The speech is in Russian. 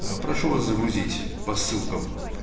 ээ прошу вас загрузить по ссылкам